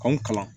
K'anw kalan